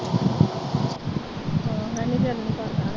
ਹਾਂ, ਮੈਂ ਵੀ ਗਰਮ-ਸਰਦ ਆ।